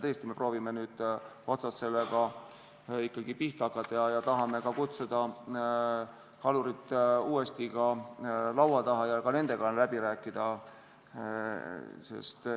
Tõesti, me proovime nüüd sellega otsast ikkagi pihta hakata ja tahame kutsuda kalurid uuesti ka laua taha ja nendega läbi rääkida.